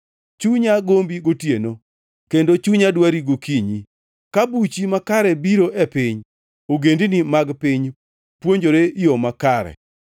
Chunya gombi gotieno kendo chunya dwari gokinyi. Ka buchi makare biro e piny, ogendini mag piny puonjore yo makare.